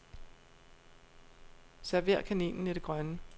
Server kaninen i det grønne.